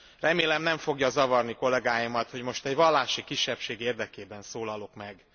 Remélem nem fogja zavarni kollegáimat, hogy most egy vallási kisebbség érdekében szólalok meg.